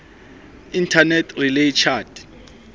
internet relay chat